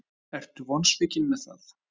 Hjörtur: Ertu vonsvikin með það?